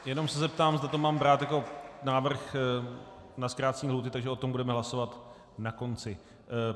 Jenom se zeptám, zda to mám brát jako návrh na zkrácení lhůty, takže o tom budeme hlasovat na konci.